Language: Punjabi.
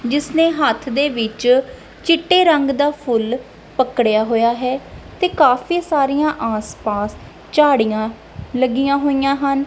ਜਿਸ ਨੇ ਹੱਥ ਦੇ ਵਿੱਚ ਚਿੱਟੇ ਰੰਗ ਦਾ ਫੁੱਲ ਪਕੜਿਆ ਹੋਇਆ ਹੈ ਤੇ ਕਾਫੀ ਸਾਰੀਆਂ ਆਸ ਪਾਸ ਝਾੜੀਆਂ ਲੱਗੀਆਂ ਹੋਈਆਂ ਹਨ।